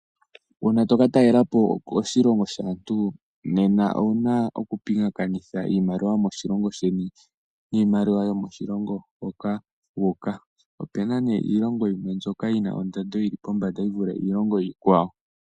Uuna toka talela po koshilongo shaantu nena owu na oku pingakanitha iimaliwa yomoshilongo sheni niimaliwa yokoshilongo hoka wuuka. Ope na nee iilongo yimwe mbyoka yi na ondando yi ili pevi yi vule iilongo iikwawo.